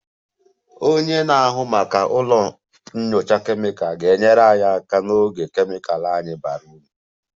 Onye na-ahụ maka ụlọ nyocha kemịkal ga-enyere anyị aka n'oge kemịkal anyị bara uru